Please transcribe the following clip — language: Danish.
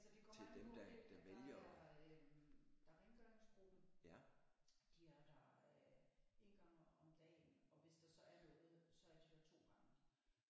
Altså det kommer an på hvem der er øh der er rengøringsgruppen de er der øh 1 gang om om dagen og hvis der så er noget så er de der 2 gange